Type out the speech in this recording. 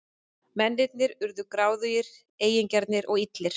Mennirnir urðu gráðugir, eigingjarnir og illir.